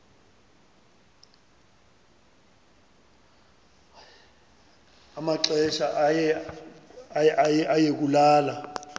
amaxesha aye kulala